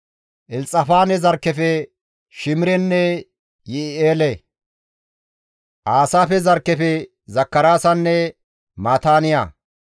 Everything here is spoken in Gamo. Elxafaane zarkkefe Shimirenne Yi7i7eele. Aasaafe zarkkefe Zakaraasanne Maataaniya.